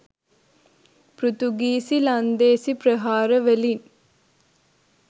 පෘතුගීසි ලන්දේසි ප්‍රහාර වලින්